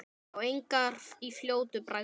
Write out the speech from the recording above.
Sá engar í fljótu bragði.